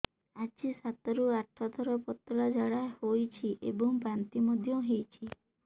ଆଜି ସାତରୁ ଆଠ ଥର ପତଳା ଝାଡ଼ା ହୋଇଛି ଏବଂ ବାନ୍ତି ମଧ୍ୟ ହେଇଛି